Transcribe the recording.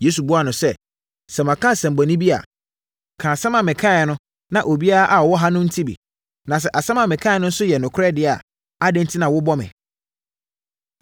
Yesu buaa no sɛ, “Sɛ maka asɛmmɔne bi a, ka asɛm a mekaeɛ no na obiara a ɔwɔ ha nte bi. Na sɛ asɛm a mekaeɛ no nso yɛ nokorɛ deɛ a, adɛn enti na wobɔ me?”